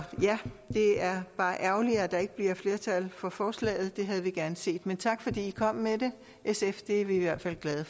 ja det er bare ærgerligt at der ikke bliver flertal for forslaget det havde vi gerne set men tak fordi i kom med det sf det er vi i hvert fald glade